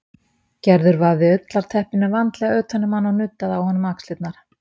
Gerður vafði ullarteppinu vandlega utan um hann og nuddaði á honum axlirnar.